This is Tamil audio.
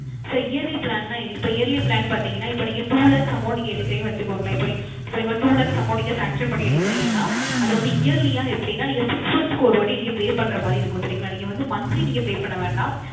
Sir Yearly Plan ன இப்போ Yearly Plan பார்த்திங்கன இப்போ Two Lakhs Amount நீங்க எடுக்குறிங்க னு வச்சுகோங்களேன் அப்போ நீங்க two Lakhs Amount Sanction பண்ணி எடுக்குறிங்கான அது வந்து Yearly யாக அப்படின நீங்க Six Month க்கு ஒரு வாட்டி நீங்க Pay பண்ற மாரி இருக்கும் சரிங்களா நீங்க வந்து Monthly Pay பண்ண வேண்டாம்